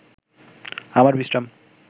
আমার বিশ্রাম